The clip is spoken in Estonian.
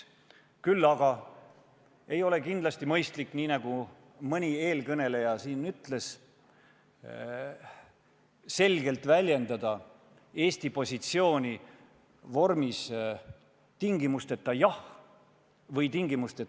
Küll aga ei ole mõistlik, nii nagu mõni eelkõneleja siin ütles, väljendada Eesti positsiooni selgelt vormis "tingimusteta jah" või "tingimusteta ei".